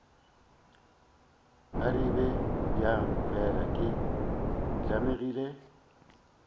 arabe bjang fela ke tlamegile